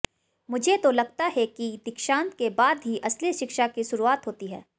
मुझे तो लगता है कि दीक्षांत के बाद ही असली शिक्षा की शुरुआत होती है